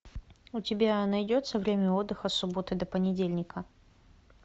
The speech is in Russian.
у тебя найдется время отдыха с субботы до понедельника